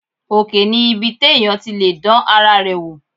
Òkè ni ibi téèyàn ti lè dán ara rẹ wò